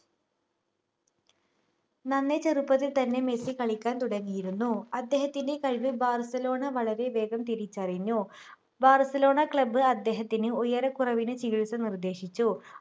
നന്നേ ചെറുപ്പത്തിൽ തന്നെ മെസ്സി കളിക്കാൻ തുടങ്ങിയിരുന്നു അദ്ദേഹത്തിൻ്റെ കഴിവ് ബാർസലോണ വളരെ വേഗം തിരിച്ചറിഞ്ഞു ബാർസലോണ club അദ്ദേഹത്തിന് ഉയരക്കുറവിനു ചികിത്സ നിർദ്ദേശിച്ചു